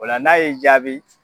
O la n'a y'i jaabi